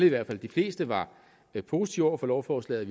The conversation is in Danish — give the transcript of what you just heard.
i hvert fald de fleste var positive over for lovforslaget